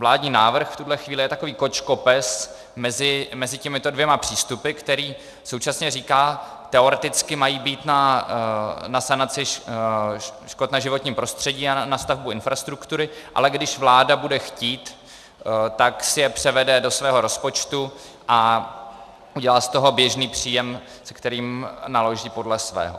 Vládní návrh v tuhle chvíli je takový kočkopes mezi těmito dvěma přístupy, který současně říká - teoreticky mají být na sanaci škod na životním prostředí a na stavbu infrastruktury, ale když vláda bude chtít, tak si je převede do svého rozpočtu a udělá z toho běžný příjem, s kterým naloží podle svého.